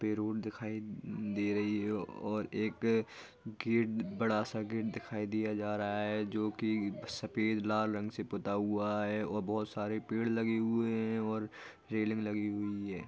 पे रोड दिखाई दे रही है और एक गेट बड़ा सा गेट दिखाई दिया जा रहा है जो की सफेद लाल रंग से पुता हुआ है और बहुत सारे पेड़ लगे हुए है और रेलिंग लगी हुई है।